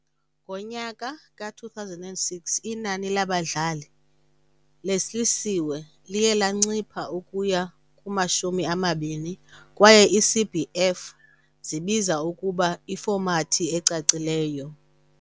Ngonyaka we-2006, inani labadlali behlisiwe liye lancipha ukuya kuma-20, kwaye ii-CBF zibiza ukuba "ifomathi" ecacileyo.